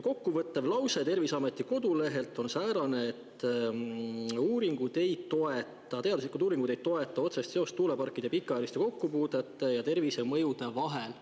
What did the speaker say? Kokkuvõttev lause Terviseameti kodulehel on säärane, et teaduslikud uuringud ei toeta otsest seost tuuleparkidega pikaajaliselt kokkupuutumise ja tervisemõjude vahel.